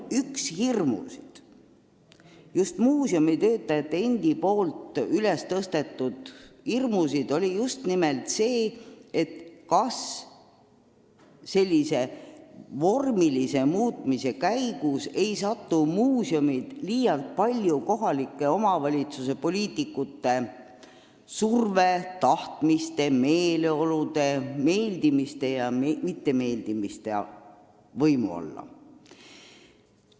Üks muuseumitöötajate hirme oli toona just nimelt see, kas sellise vormilise muutuse tõttu ei satu muuseumid liialt palju kohalike omavalitsuste poliitikute surve alla – vahest hakkavad nad siis sõltuma kohalike poliitikute tahtmistest ja meeleoludest, kellelegi meeldimisest-mittemeeldimisest.